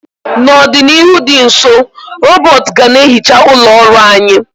N'ọdịnihu dị nso, rọbọt ga na ehicha ụlọ ọrụ anyị.